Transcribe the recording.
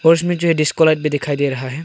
और इसमें जो है डिस्को लाइट भी दिखाई दे रहा है।